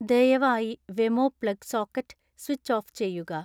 ദയവായി Wemo plug socket switch off ചെയ്യുക